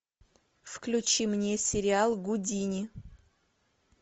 включи мне сериал гудини